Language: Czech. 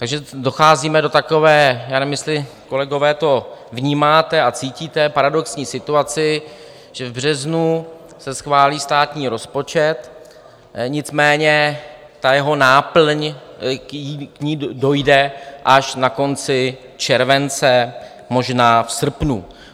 Takže docházíme do takové - já nevím, jestli, kolegové, to vnímáte a cítíte - paradoxní situace, že v březnu se schválí státní rozpočet, nicméně ta jeho náplň, k ní dojde až na konci července, možná v srpnu.